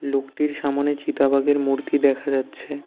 লোকটির সামোনে চিতাবাঘের মূর্তি দেখা যাচ্ছে।